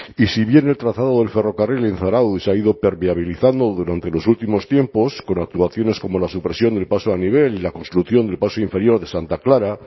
y si bien el trazado del ferrocarril en zarautz se ha ido permeabilizando durante los últimos tiempos con actuaciones como la supresión del paso a nivel y la construcción del paso inferior de santa clara